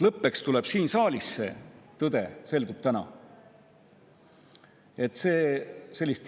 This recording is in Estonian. Lõppeks selgub tõde täna siin saalis.